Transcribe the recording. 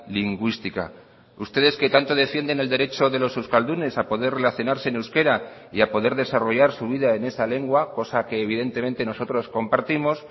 lingüística ustedes que tanto defienden el derecho de los euskaldunes a poder relacionarse en euskera y a poder desarrollar su vida en esa lengua cosa que evidentemente nosotros compartimos